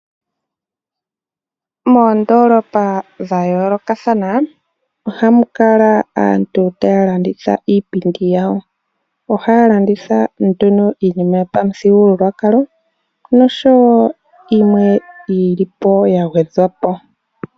Moondolopa dhayoolokathana ohamu kala aantu taya landitha iipindi yawo, ohaya landitha nduno iinima yomuthigululwakalo, nosho wo yimwe yili po yagwedhwa po.